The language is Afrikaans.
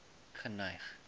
geneig